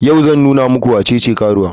Yau zan nuna muku wacece karuwa.